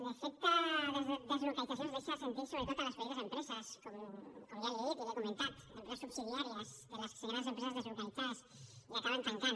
l’efecte de les deslocalitzacions es deixa sentir sobretot a les petites empreses com ja li he dit i li he comentat empreses subsidiàries de les grans empreses deslocalitzades i que acaben tancant